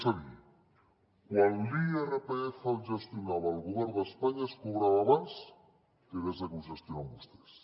és a dir quan l’irpf el gestionava el govern d’espanya es cobrava abans que des de que ho gestionen vostès